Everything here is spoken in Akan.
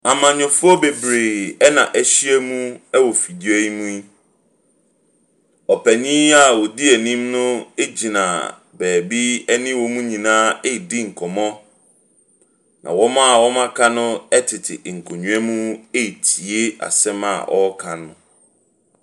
Amanyɔfoɔ bebree ɛna ɛhyia mu ɛwɔ fidua yi mu yi. Ɔpanyin a ɔde ɛnim no egyina baabi ɛne wɔn nyinaa redi nkɔmmɔ. Na wɔn a aka no ɛtete nkonwa mu etie asɛm a ɔreka no.